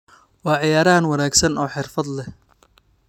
Waa ciyaaryahan wanaagsan oo xirfad leh.